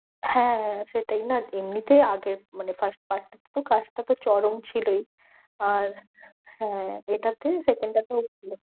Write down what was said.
হ্যাঁ হ্যাঁ, সেটাই না এমনিতে আগের মানে first part টা তো cast টা তো চরম ছিলই। আর হ্যাঁ second টাকেও